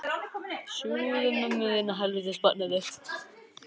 Hún lítur í kringum sig meðan hann lætur dæluna ganga.